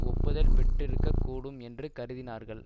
ஒப்புதல் பெற்றிருக்கூடும் என்று கருதினார்கள்